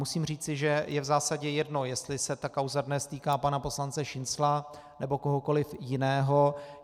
Musím říci, že je v zásadě jedno, jestli se ta kauza dnes týká pana poslance Šincla, nebo kohokoli jiného.